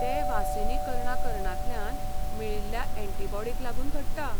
ते वासिनीकरणा करणानांतल्यान मेळिल्ल्या एंटीबॉडिंक लागून घडटा.